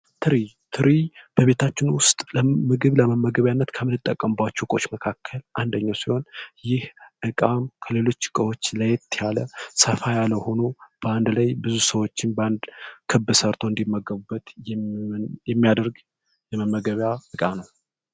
ትሪ ትሪ በቤታችን ውስጥ ምግብ ለመመገቢያነት ከምንጠቀምባቸው እቃዎች መካከል አንደኛ ሲሆን ይህ እቃም ከሌሎች እቃዎች ለየት ያለ ሰፋ ያለ ሆኖ በአንድ ላይ ብዙ ሰዎች ባንድ ክብ ሰርቶ እንዲመገቡበት የሚያደርግ የመመገብያ እቃ ነው።